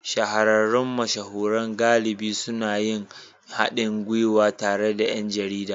Shahararrun mashahuran galibi suna yin haɗin gwiwa tare da ’yan jarida